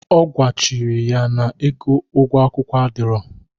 Ọ gwachiri ya na ego ụgwo akwụkwụ adiro.